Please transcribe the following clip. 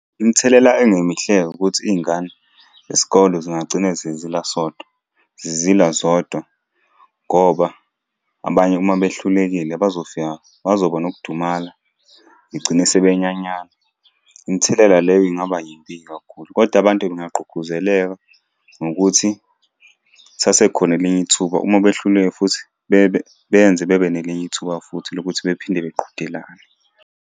Imithelela engemihle-ke ukuthi iy'ngane zesikole zingagcina sezilwa sodwa, sezilwa zodwa, ngoba abanye uma behlulekile bazofika, bazoba nokudumala iy'gcine sebenyanyana. Imithelela leyo ingaba yimbi-ke kakhulu, koda abantu bengagqugquzeleka ngokuthi lisasekhona elinye ithuba uma behluleka futhi beyenze bebe nelinye ithuba futhi lokuthi bephinde beqhudelane.